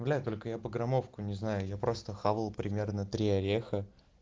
бля только я по граммовку не знаю я просто хавал примерно три ореха